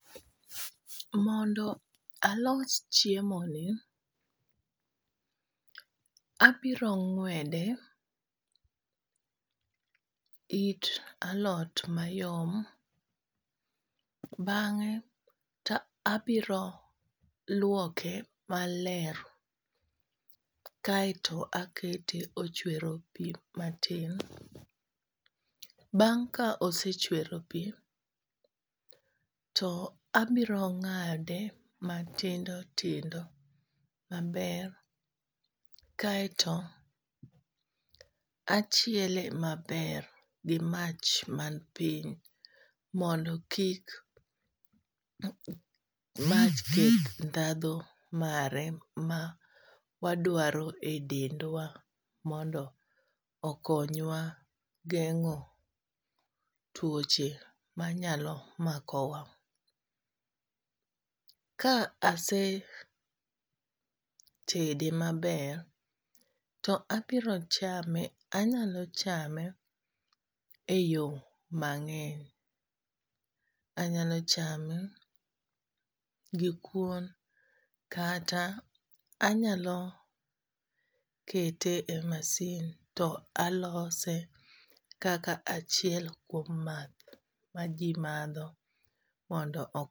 Mondo alos chiemo ni, abiro ng'wede it alot mayom. Bang'e abiro lwoke maler kaeto akete ochwero pi matin. Bang' ka osechwero pi to abiro ng'ade matindo maber, kaeto achiele maber gi mach man piny mondo kik mach keth ndhadho mare ma wadwaro e dendwa. Mondo okonywa geng'o tuoche ma nyalo makowa. Ka ase tede maber to abiro chame, anyalo chame e yo mang'eny. Anyalo chame gi kuon, kata anyalo kete e masin to alose kaka achiel kuom math ma ji madho mondo o.